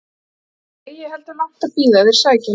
Þess er eigi heldur langt að bíða að þeir sæki hann heim.